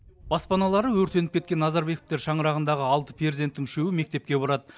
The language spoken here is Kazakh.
баспаналары өртеніп кеткен назарбековтер шаңырағындағы алты перзенттің үшеуі мектепке барады